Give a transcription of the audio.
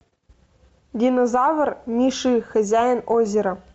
динозавр ми ши хозяин озера